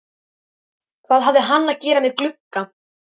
Hvað hafði hann að gera með glugga?